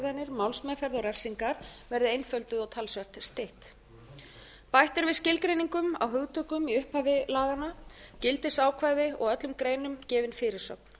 málsmeðferð og refsingar verði einfölduð og talsvert stytt bætt er við skilgreiningum á hugtökum í upphafi laganna gildisákvæðum og öllum greinum gefin fyrirsögn